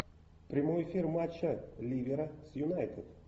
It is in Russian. прямой эфир матча ливера с юнайтед